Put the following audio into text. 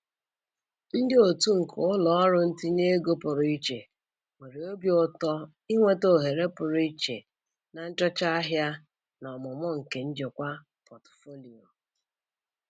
Ndị otu nke ụlọ ọrụ ntinye ego pụrụ iche nwere obi ụtọ inweta ohere pụrụ iche na nchọcha ahịa na ọmụmụ nke njikwa pọtụfoliyo.